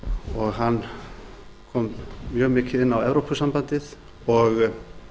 og hann kom mjög mikið inn á evrópusambandið og